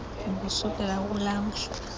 ukusukela kulaa mhla